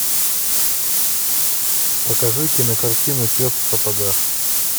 покажи кинокартину пес в сапогах